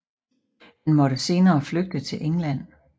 Han måtte senere flygte til England